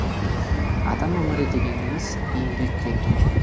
адам өмірі дегеніміз еңбек ету